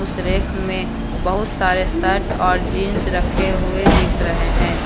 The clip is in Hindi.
उस रैक में बहुत सारे शर्ट और जींस रखे हुए दिख रहे हैं।